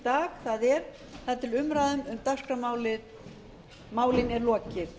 dag það er þar til umræðum um dagskrármálin er lokið